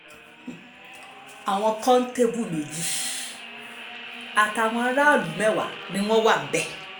àwọn kòńtẹ́bù méjì àtàwọn aráàlú mẹ́wàá ni wọ́n wà níbẹ̀